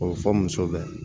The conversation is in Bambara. O bɛ fɔ muso bɛɛ ye